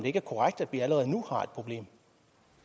ikke er korrekt at vi allerede nu